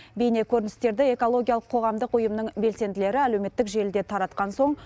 бейне көріністерді экологиялық қоғамдық ұйымның белсенділері әлеуметтік желіде таратқан соң